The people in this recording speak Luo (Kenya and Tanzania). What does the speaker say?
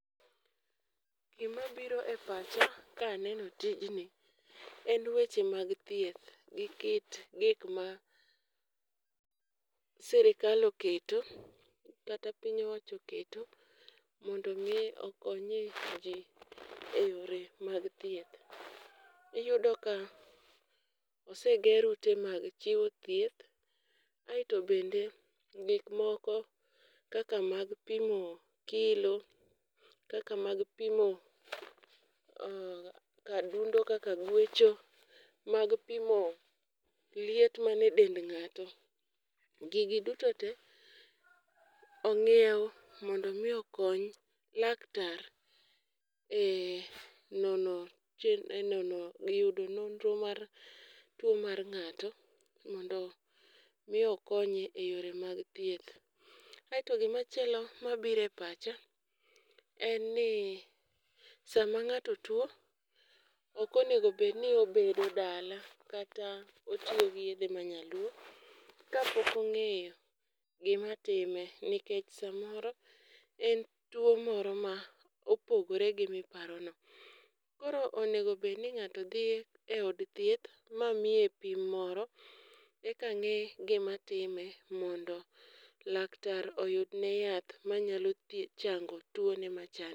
Gima biro e pacha ka aneno tijni en weche mag thieth gi kit gik ma sirikal oketo kata piny owacho oketo mondo mi okonye ji eyore mag thieth. Iyudo ka oseger ute mag chiwo thieth, aeto bende gik moko kaka mag pimo kilo, kaka mag pimo ah kar dundo kaka gwecho, mag pimo liet man e dend ng'ato. Gigi duto te ong'ieu mondo mi okony laktar e nono che e nono e yudo nonro mar tuo mar ng'ato mondo mi okonye e yore mag thieth. Aeto gima chielo mabiro e pacha, en ni sama ng'ato tuo ok onego bedni obedo dala kata otiyo gi yedhe ma nyaluo kapok ong'eyo gima time nikech samoro en tuo moro ma opogore gi miparono. Koro onego bed ni ng'ato dhi e od thieth ma miye pim moro, eka ng'e gima time mondo laktar oyudne yath manyalo thiedh chango tuone machande.